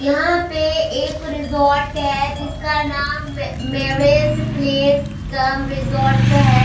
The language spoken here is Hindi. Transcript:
यहां पे एक रिसोर्ट है जिसका नाम मैरेज प्लेस कम रिसोर्ट है।